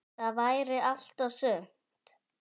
Það væri allt og sumt.